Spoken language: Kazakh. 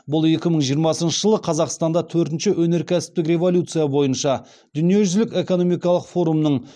бұл екі мың жиырмасыншы жылы қазақстанда төртінші өнеркәсіптік революция бойынша дүниежүзілік экономикалық форумның